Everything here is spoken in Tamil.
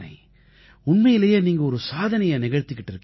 உண்மையிலேயே நீங்க ஒரு சாதனையை நிகழ்த்திக்கிட்டு இருக்கீங்க